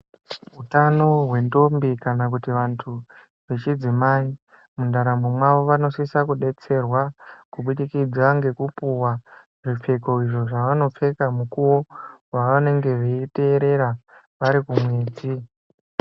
Utano hwendombi kana kuti vantu vechidzimai mundaramo mavo vanosisa kudetserwa kubudikidza ngekupiwa zvipfeko izvo zvevanopfeka mukuwo wevanenge veiteerera varikumwedzi.